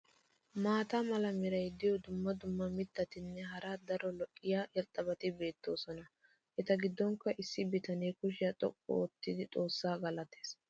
Maata mala meray diyo dumma dumma mitatinne hara daro lo'iya irxxabati beetoosona. eta giddonkka issi bitanee kushiya xoqqu oottidi xoossaa galatees.